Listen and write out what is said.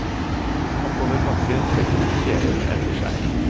Oppover bakke trekker de kjelen etter seg.